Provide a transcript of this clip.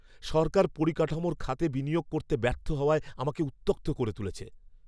সরকার পরিকাঠামোর খাতে বিনিয়োগ করতে ব্যর্থ হওয়ায় আমাকে উত্যক্ত করে তুলেছে।